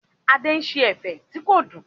Adé ṣe ẹ̀fẹ̀ tí kò dùn.